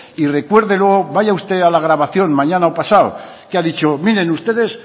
y recuérdelo vaya usted a la grabación mañana o pasado que ha dicho miren ustedes